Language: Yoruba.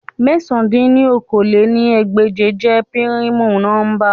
Mẹ̀sán dín ní okòó-lé-ní-ẹgbẹ́je jẹ pirimu nọmba